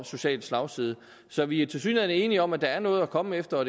social slagside så vi er tilsyneladende enige om at der er noget at komme efter og